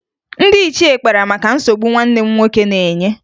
Ndị ichie kpara maka nsogbu nwanne m nwoke na-enye